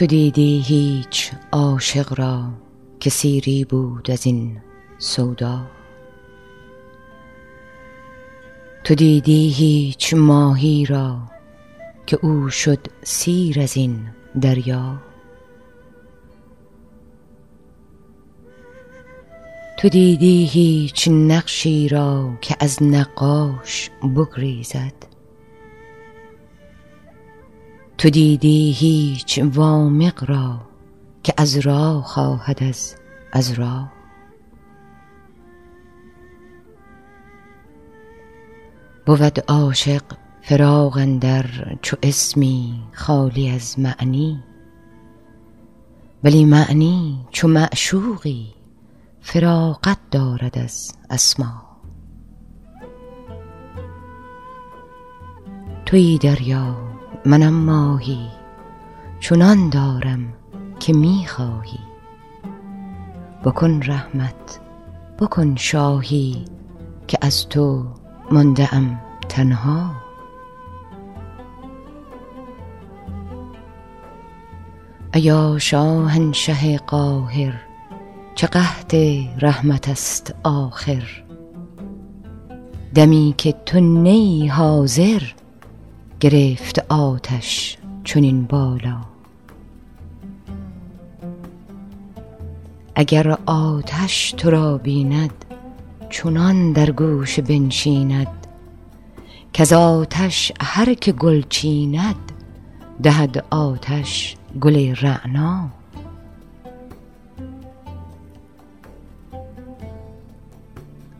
تو دیدی هیچ عاشق را که سیری بود از این سودا تو دیدی هیچ ماهی را که او شد سیر از این دریا تو دیدی هیچ نقشی را که از نقاش بگریزد تو دیدی هیچ وامق را که عذرا خواهد از عذرا بود عاشق فراق اندر چو اسمی خالی از معنی ولی معنی چو معشوقی فراغت دارد از اسما توی دریا منم ماهی چنان دارم که می خواهی بکن رحمت بکن شاهی که از تو مانده ام تنها ایا شاهنشه قاهر چه قحط رحمت ست آخر دمی که تو نه ای حاضر گرفت آتش چنین بالا اگر آتش تو را بیند چنان در گوشه بنشیند کز آتش هر که گل چیند دهد آتش گل رعنا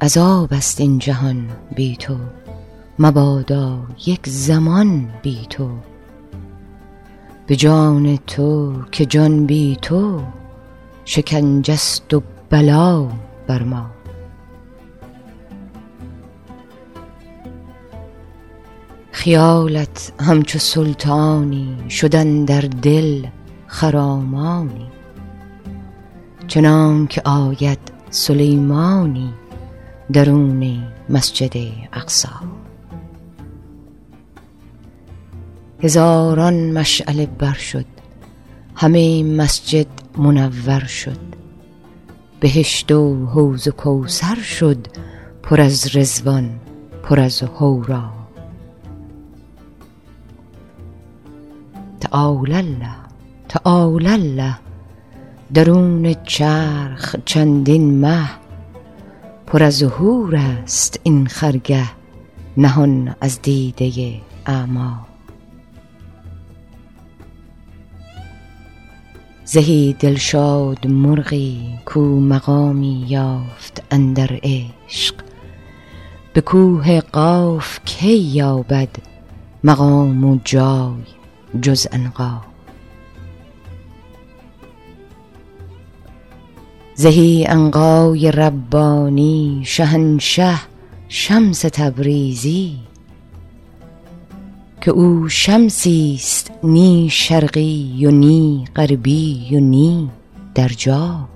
عذاب ست این جهان بی تو مبادا یک زمان بی تو به جان تو که جان بی تو شکنجه ست و بلا بر ما خیالت همچو سلطانی شد اندر دل خرامانی چنانک آید سلیمانی درون مسجد اقصی هزاران مشعله بر شد همه مسجد منور شد بهشت و حوض کوثر شد پر از رضوان پر از حورا تعالی الله تعالی الله درون چرخ چندین مه پر از حورست این خرگه نهان از دیده اعما زهی دلشاد مرغی کو مقامی یافت اندر عشق به کوه قاف کی یابد مقام و جای جز عنقا زهی عنقای ربانی شهنشه شمس تبریزی که او شمسی ست نی شرقی و نی غربی و نی در جا